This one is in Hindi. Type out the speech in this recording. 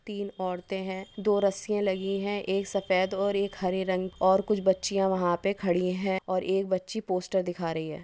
तीन औरते है दो रस्सियां लगी है एक सफ़ेद और एक हरे रंग और कुछ बच्चियां वहा पे खड़ी है और आरके बच्ची पोस्टर दिखा रही है।